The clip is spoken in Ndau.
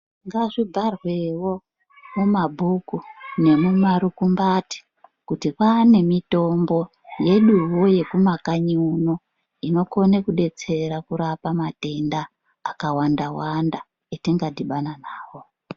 Ngazvibharwewo, mumabhuku nemumarukumbati ,kuti kwaane mitombo, yeduwo yekumakanyi uno, inokone kudetsera kurapa matenda, akawanda-wanda, etingadhibana nawo.